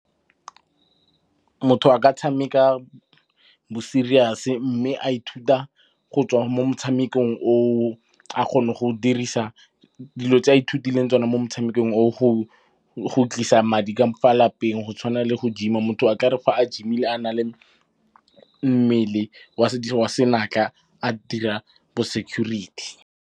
Motho a ka tshameka bo serious-e mme a ithuta go tswa mo motshamekong oo. A kgone go dirisa dilo tse a ithutileng tsone mo motshamekong oo go tlisa madi ka fa lapeng. Go tshwana le gym-a, motho a tla re fa a gym-ile a nang le mmele wa senatla a dira bo security.